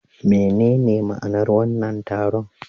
Menene ma'anar wannan taron?